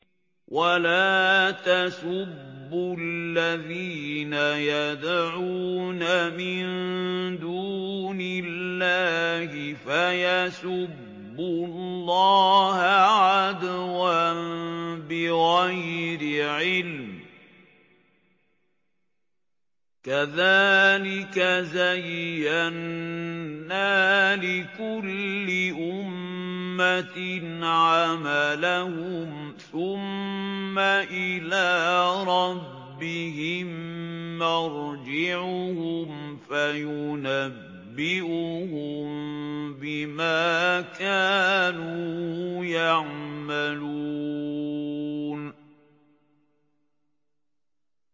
وَلَا تَسُبُّوا الَّذِينَ يَدْعُونَ مِن دُونِ اللَّهِ فَيَسُبُّوا اللَّهَ عَدْوًا بِغَيْرِ عِلْمٍ ۗ كَذَٰلِكَ زَيَّنَّا لِكُلِّ أُمَّةٍ عَمَلَهُمْ ثُمَّ إِلَىٰ رَبِّهِم مَّرْجِعُهُمْ فَيُنَبِّئُهُم بِمَا كَانُوا يَعْمَلُونَ